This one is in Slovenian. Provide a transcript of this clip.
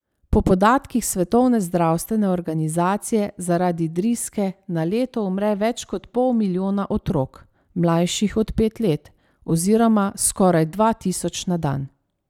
Po podatkih Svetovne zdravstvene organizacije zaradi driske na leto umre več kot pol milijona otrok, mlajših od pet let, oziroma skoraj dva tisoč na dan.